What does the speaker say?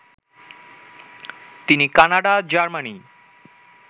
তিনি Canada, Germany